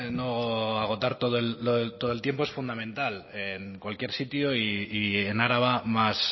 no agotar todo el todo el tiempo es fundamental en cualquier sitio y en araba más